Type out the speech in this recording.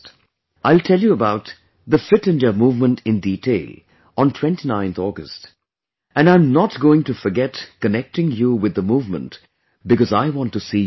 I will tell you about 'Fit India Movement' in detail on 29thAugust and I am not going to forget connecting you with the movement because I want to see you fit